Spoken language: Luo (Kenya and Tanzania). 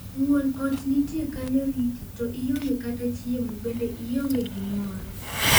"Woun ot nitie kanyo riti to ionge kata chiemo, bende ionge gimoro."